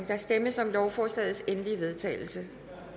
der stemmes om lovforslagets endelige vedtagelse